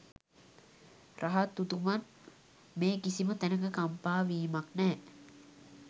රහත් උතුමන් මේ කිසිම තැනක කම්පා වීමක් නෑ.